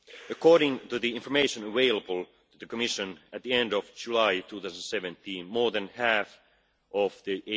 According to the information available to the Commission, at the end of July 2017, more than half of the